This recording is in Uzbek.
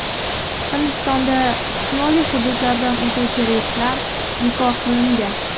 Hindistonda shimoliy hududlardan o‘tuvchi reyslar bekor qilingan.